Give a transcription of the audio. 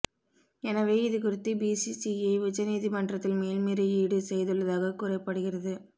எனவே இதுகுறித்து பிசிசிஐ உச்ச நீதிமன்றத்தில் மேல்முறையீடு செய்துள்ளதாக கூறப்படுகிறது